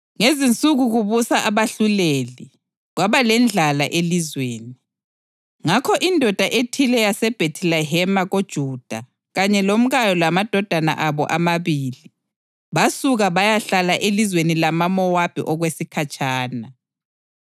Ngezinsuku kubusa abahluleli, kwaba lendlala elizweni. Ngakho indoda ethile yaseBhethilehema koJuda kanye lomkayo lamadodana abo amabili, basuka bayahlala elizweni lamaMowabi okwesikhatshana.